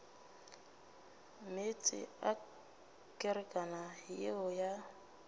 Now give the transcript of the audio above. meetse a kerekana yeo ya